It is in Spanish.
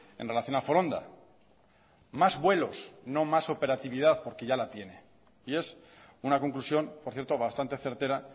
en relación a foronda más vuelos no más operatividad porque ya la tiene y es una conclusión por cierto bastante certera